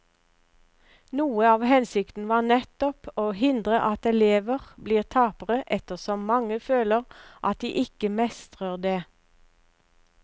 Noe av hensikten var nettopp å hindre at elever blir tapere ettersom mange føler at de ikke mestrer det.